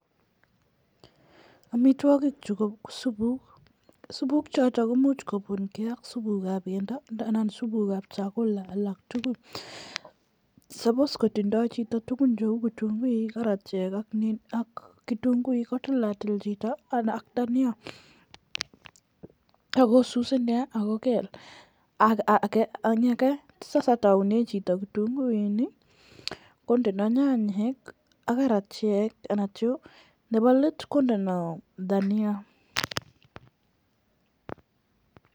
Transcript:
Amitwogik chu ko supuk. Supuk choto komuch kopunke ak supuk chepo pendo andan supukab "[ chakula"] alak tugul. "[Supposed"] kotindo chito tuguk cheu kitunguik, karatiek ak, kitunguik kotilatil chito ak dania ak kosus inne ak kogel. Ak age sasa kotaune chito kitunguik ii kondeno chanyek ii ak karatiek anan chu. Nebo let kondeno dania.